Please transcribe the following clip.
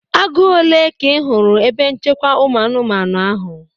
Agụ ole ka ị hụrụ na ebe nchekwa ụmụ anụmanụ ahụ?